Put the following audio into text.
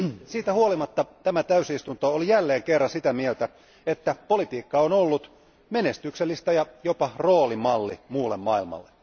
Siitä huolimatta tämä täysistunto oli jälleen kerran sitä mieltä, että politiikka on ollut menestyksellistä ja jopa roolimalli muulle maailmalle.